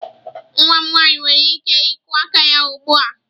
Nwa m nwanyị nwere ike ịkụ aka ya ugbu a.